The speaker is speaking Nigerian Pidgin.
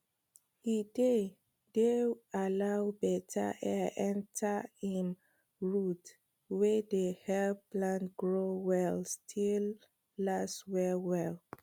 e dey dey allow beta air enter im roots wey dey help plants grow well still last well well